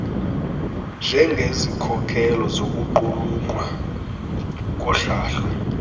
njengezikhokelo zokuqulunqwa kohlahlo